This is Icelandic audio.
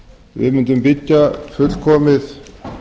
við mundum byggja fullkomið